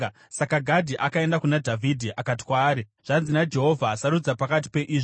Saka Gadhi akaenda kuna Dhavhidhi akati kwaari, “Zvanzi naJehovha: ‘Sarudza pakati peizvi: